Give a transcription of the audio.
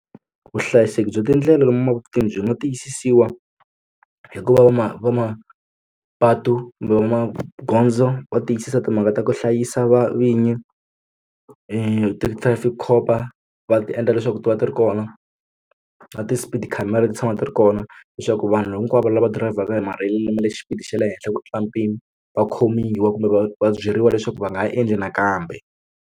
Vuhlayiseki bya tindlela lomu mapatwini byi nga tiyisisiwa hikuva vana va mapatu kumbe va magondzo va tiyisisa timhaka ta ku hlayisa vinyi ti trafic cop va va ti endla leswaku ti va ti ri kona na ti-speed khamera ti tshama ti ri kona leswaku vanhu hinkwavo lava dirayivhaka hi matirhelo lama le xipidi xa le henhla ku tlula mpimo va khomiwa kumbe va va byeriwa leswaku va nga ha endli nakambe.